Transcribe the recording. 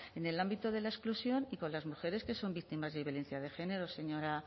en el ámbito de la exclusión y con las mujeres que son víctimas de violencia de género señora